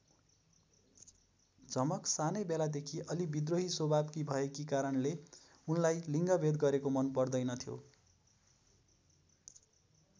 झमक सानै बेलादेखि अलि विद्रोही स्वभावकी भएकी कारणले उनलाई लिङ्गभेद गरेको मन पर्दैन थियो।